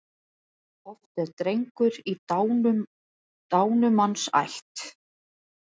Oft er drengur í dánumanns ætt.